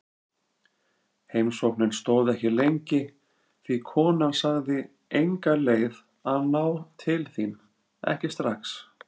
Heimsóknin stóð ekki lengi því konan sagði enga leið að ná til þín, ekki strax.